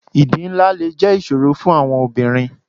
Ìdí ńlá le jẹ́ ìṣòro fún àwọn obìnrin.